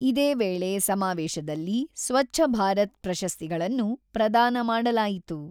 ಇದೇ ವೇಳೆ ಸಮಾವೇಶದಲ್ಲಿ ಸ್ವಚ್ಛ ಭಾರತ್ ಪ್ರಶಸ್ತಿಗಳನ್ನು ಪ್ರದಾನ ಮಾಡಲಾಯಿತು.